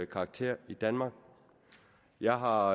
karakter i danmark jeg har